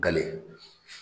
Gale